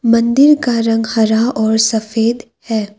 मंदिर का रंग हरा और सफेद है।